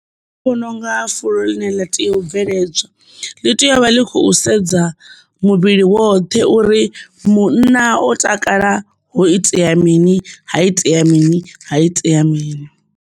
Nṋe ndi vhona unga fulo ḽine ḽa tea u bveledzwa ḽi tea uvha ḽi khou sedza muvhili woṱhe uri munna o takala ho itea mini ha itea mini ha itea mini.